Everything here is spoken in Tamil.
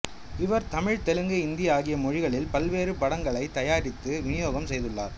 இவர் தமிழ் தெலுங்கு இந்தி ஆகிய மொழிகளில் பல்வேறு படங்களைத் தயாரித்து விநியோகம் செய்துள்ளார்